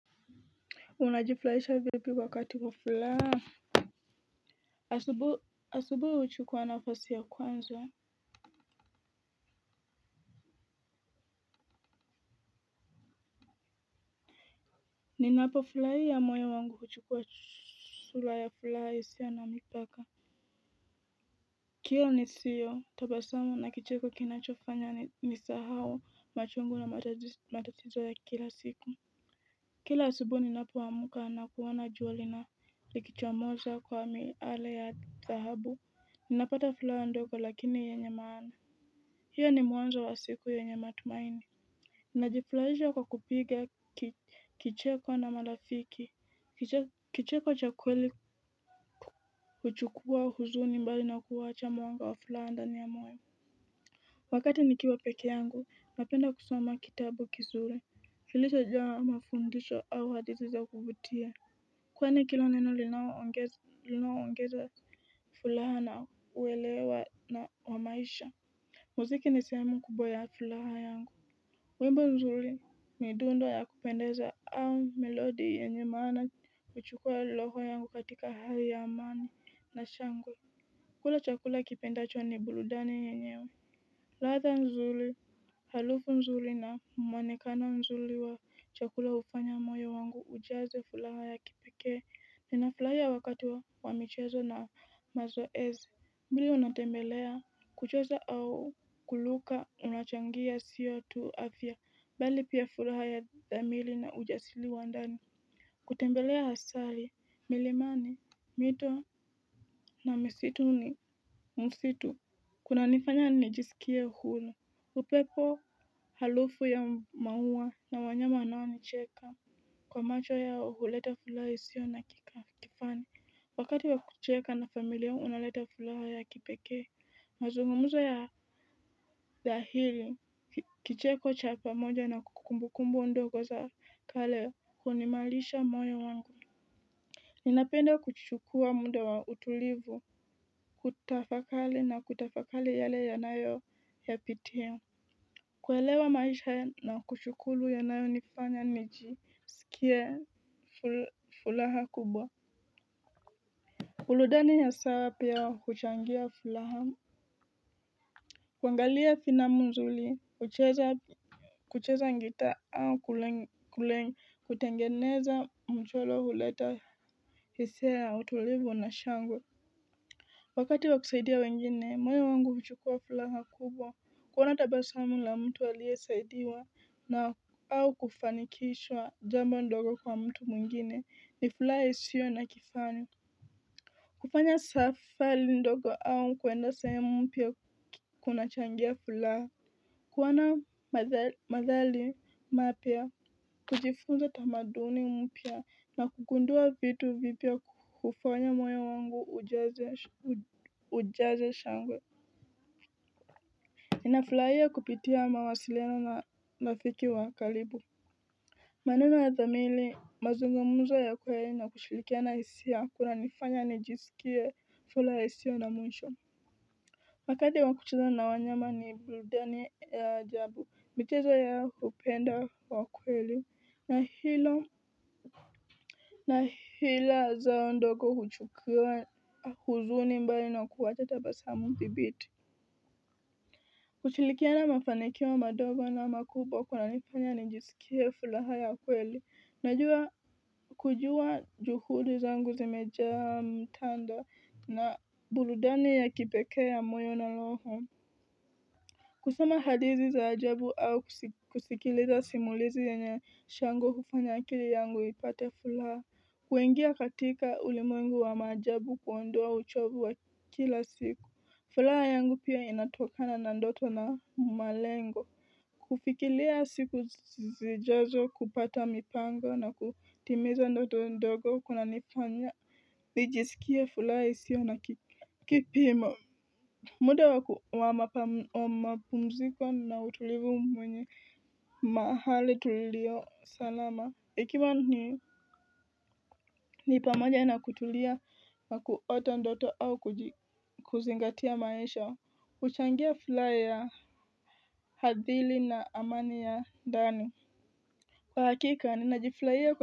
Unajifurahisha vipi wakati wa furaha. Asubu asubuhi huchukuwa nafasi ya kwanza. Ninapo furahia moyo wangu huchukuwa sura ya furaha isiyo na mipaka kila nisio tabasamu na kicheko kinachofanya nisahau machungu na matatizo ya kila siku kila asubuhi ninapo amka na kuona jua likichomoza kwa miale ya dhahabu napata furaha ndogo lakini yenye maana. Hiyo ni mwanzo wa siku yenye matumaini. Najifurahisha kwa kupiga kicheko na marafiki. Kicheko cha kweli huchukua huzuni mbali na kuwacha mwanga wa furaha ndani ya moyo. Wakati nikiwa peke yangu, napenda kusoma kitabu kizuri kilicho jawa na mafundisho au hadithi za kuvutia. Kweni kila neno linao ongeza furaha na uelewa na wamaisha. Muziki nisehemu kubwa ya furaha yangu wimbo nzuri midundo ya kupendeza au melodi yenye maana huchukua roho yangu katika hali ya amani na shangwe kula chakula kipendacho ni burudani yenyewe ladha nzuri harufu nzuri na mwonekano nzuri wa chakula hufanya moyo wangu ujaze furaha ya kipeke ninafurahia wakati wa wa michezo na mazoezi vile unatembelea kucheza au kuluka unachangia siyo tu afya bali pia furaha ya dhamili na ujasiri wa ndani kutembelea hasari milimani mito na misitu ni msitu kuna nifanya nijisikie huru upepo harufu ya maua na wanyama wanao nicheka kwa macho yao huleta furaha isio na kifani wakati wa kucheka na familia unaleta furaha ya kipekee. Mazungumuza ya dhahili kicheko cha pamoja na kumbu kumbu ndogo za kale huimarisha moyo wangu. Ninapenda kuchukua muda wa utulivu, kutafakari na kutafakari yale ya nayo ya pitia. Kuelewa maisha na kushukuru ya nayo nifanya nijiskie furaha kubwa burudani ya saa pia huchangia furaha kuangalia filamu nzuri kucheza gitaa au kutengeneza mchoro huleta hisia ya utulivu na shangwe. Wakati wa kusaidia wengine, moyo wangu huchukua furaha kubwa, kuona tabasamu la mtu aliye saidiwa. Na au kufanikishwa jambo ndogo kwa mtu mwingine, ni furaha isio na kifani. Kufanya safari ndogo au kwenda sehumu mpya kuna changia furaha. Kuona madhali mapya, kujifunza tamaduni mpya na kugundua vitu vipya hufanya moyo wangu ujaze shangwe ninafulaia kupitia mawasiliano na rafiki wa karibu maneno ya dhamiri mazungumzo ya kweli na kushirikiana hisia kunanifanya nijisikie furaha isiyo na mwisho wakadi wa kucheza na wanyama ni burudani ya ajabu michezo yao upendo wa kweli na hilo na hila zao ndogo huchukuwa uzuni mbali na kuwacha tabasamu dhibiti. Kushilikiana mafanikio mandogo na makubwa kuna nifanya nijisikie furaha ya kweli, najua kujua juhudi zangu zimeja mtanda na burudani ya kipekee ya moyo na roho. Kusema hadithi za ajabu au kusikiliza simulizi yenye shangwe hufanya akili yangu ipate furaha. Kuingia katika ulimwengu wa maajabu kuondoa uchovu wa kila siku. Furaha yangu pia inatokana na ndoto na malengo. Kufikilia siku zijazo kupata mipango na kutimiza ndoto ndogo kuna nifanya. Nijisikie furaha isio na kipimo. Muda wa mapumziko na utulivu mwenye mahali tulio salama. Ikima ni pamoja na kutulia wa kuota ndoto au kuzingatia maisha. Huchangia furaha ya hadhili na amani ya ndani. Kwa hakika, ninajifurahia kwa.